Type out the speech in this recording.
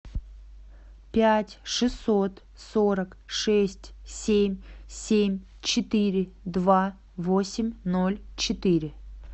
пять шестьсот сорок шесть семь семь четыре два восемь ноль четыре